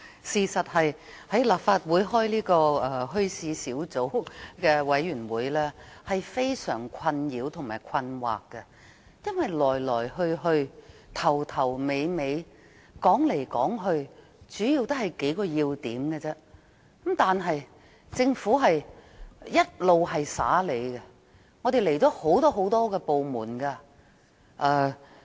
事實上，在立法會舉行墟市事宜小組委員會的會議令人感到非常困擾和困惑，因為來來去去，從頭到尾，說來說去也是數個要點，但政府卻一直帶我們遊花園。